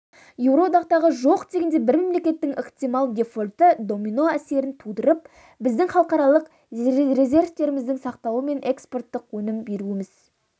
еуроодақтағы жоқ дегенде бір мемлекеттің ықтимал дефолты домино әсерін тудырып біздің халықаралық резервтеріміздің сақталуы мен экспорттық өнім беруіміздің